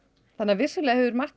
vissulega hefur margt